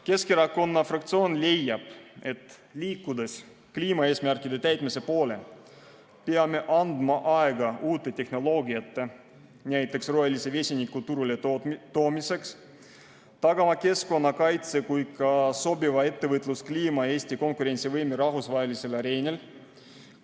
Keskerakonna fraktsioon leiab, et liikudes kliimaeesmärkide täitmise poole, peame andma aega uute tehnoloogiate, näiteks rohelise vesiniku turuletoomiseks, tagama keskkonnakaitse ja ka sobiva ettevõtluskliima ja Eesti konkurentsivõime rahvusvahelisel areenil.